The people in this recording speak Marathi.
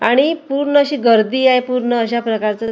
आणि पूर्ण अशी गर्दी आहे. पूर्ण अशा प्रकारचं--